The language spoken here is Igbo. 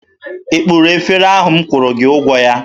Ị kpụrụ efere ahụ m kwụrụ gị ụgwọ ya?